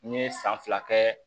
N ye san fila kɛ